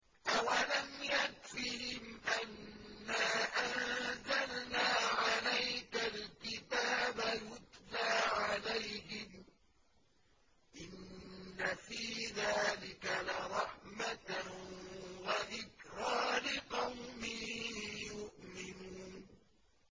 أَوَلَمْ يَكْفِهِمْ أَنَّا أَنزَلْنَا عَلَيْكَ الْكِتَابَ يُتْلَىٰ عَلَيْهِمْ ۚ إِنَّ فِي ذَٰلِكَ لَرَحْمَةً وَذِكْرَىٰ لِقَوْمٍ يُؤْمِنُونَ